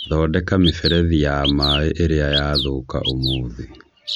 thondeka mĩberethi ya mai ĩrĩa yaathũka ũmũthĩ.